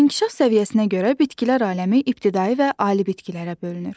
İnkişaf səviyyəsinə görə bitkilər aləmi ibtidai və ali bitkilərə bölünür.